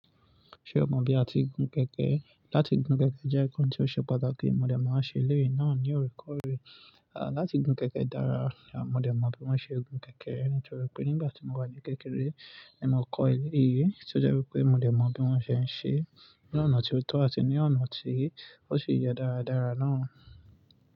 Ṣé o mọ̀ bí a ti gun kẹ̀kẹ́? Láti gun kẹ̀kẹ́ jẹ́ nǹkan tí ó ṣe pàtàkì, mo dẹ̀ maa n ṣe eléyìí náà ní oorekoore. À, láti gun kẹ̀kẹ́ dára, mo dẹ̀ mọ̀ bí wọ́n ṣe gun kẹ̀kẹ́, nítorí pé nígbà tí mo wà ní kékeré ni mo kọ́ eléyìí, tí ó jẹ́ wípé mo dẹ̀ mọ̀ bí wọ́n ṣe ń ṣe, ní ọ̀nà tí ó tọ́ àti ní ọ̀nà tí ó ṣi yẹ dáradára náà.